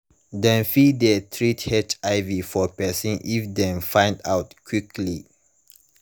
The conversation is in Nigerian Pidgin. dem fit de treat hiv for person if dem find out quickly